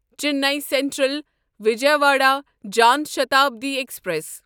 Chennai Central Vijayawada Jan Shatabdi express